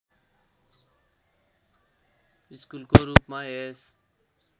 स्कुलको रूपमा यस